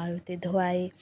मारुती धोआई |